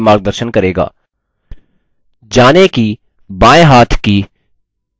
जानें कि दायेंहाथ की छोटी ऊँगली की लाल क्षेत्र क्या है